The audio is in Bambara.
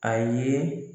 A ye